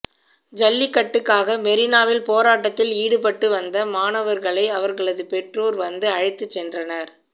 ஜல்லிக்கட்டுக்காக மெரினாவில் போராட்டத்தில் ஈடுபட்டு வந்த மாணவர்களை அவர்களது பெற்றோர் வந்து அழைத்து சென்றனர்